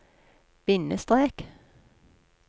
bindestrek